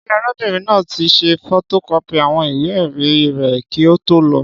Ṣé arábìnrin náà tí ṣe fotokọ́pì àwọn ìwé èrí rẹ k kí o tó lọ